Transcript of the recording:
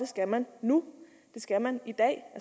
skal man nu det skal man i dag